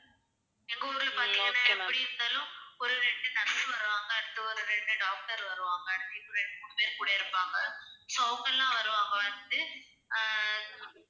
எங்க ஊர்லயும் பார்த்தீங்கன்னா எப்படி இருந்தாலும் ஒரு ரெண்டு nurse வருவாங்க, அடுத்து ஒரு இரண்டு doctor வருவாங்க. இன்னும் இரண்டு, மூணு பேர் கூட இருப்பாங்க so அவங்கெல்லாம் வருவாங்க வந்துட்டு அஹ்